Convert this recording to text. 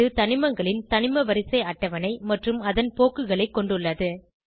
இது தனிமங்களின் தனிமவரிசை அட்டவணை மற்றும் அதன் போக்குகளை கொண்டுள்ளது